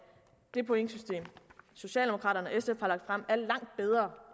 det pointsystem socialdemokraterne